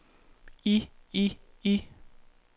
i i i